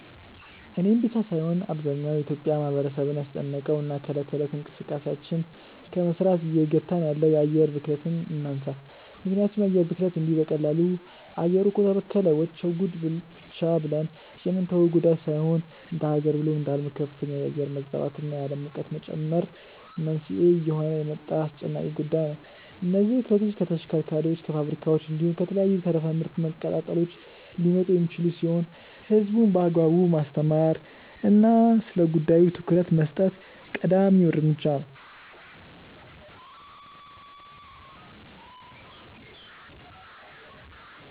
እኔን ብቻ ሳይሆን አብዛኛው የኢትዮጲያ ማህበረሰብን ያስጨነቀውን እና እለት ከእለት እንቅስቃሴያችንን ከመስራት እየገታን ያለውን የአየር ብክለትን እናንሳ። ምክንያቱም የአየር ብክለት እንዲሁ በቀላሉ “አየሩ እኮ ተበከለ… ወቸው ጉድ” ብቻ ብለን የምንተወው ጉዳይ ሳይሆን እንደሃገር ብሎም እንደአለም ለከፍተኛ የአየር መዛባት እና የአለም ሙቀት መጨመር መንስኤ እየሆነ የመጣ አስጨናቂ ጉዳይ ነው። እነዚህ ብክለቶች ከተሽከርካሪዎች፣ ከፋብሪካዎች፣ እንዲሁም ከተለያዩ ተረፈ ምርት መቀጣጠሎች ሊመጡ የሚችሉ ሲሆን ህዝቡን በአግባቡ ማስተማር እና ስለጉዳዩ ትኩረት መስጠት ቀዳሚ እርምጃ ነው።